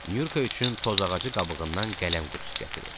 Nyurka üçün toz ağacı qabığından qələm qutusu gətirib.